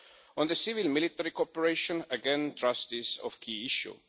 On civilian military cooperation, again trust is a key issue.